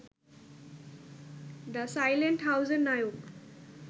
the silent হাউস-এর নায়ক